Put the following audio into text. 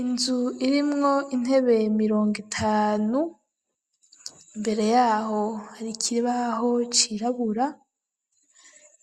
Inzu irimwo intebe mirongo itanu imbere yaho hari ikibaho cirabura